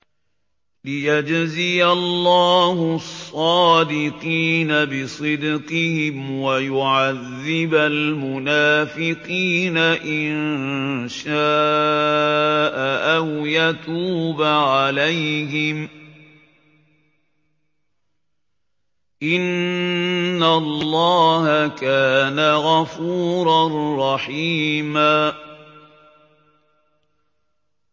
لِّيَجْزِيَ اللَّهُ الصَّادِقِينَ بِصِدْقِهِمْ وَيُعَذِّبَ الْمُنَافِقِينَ إِن شَاءَ أَوْ يَتُوبَ عَلَيْهِمْ ۚ إِنَّ اللَّهَ كَانَ غَفُورًا رَّحِيمًا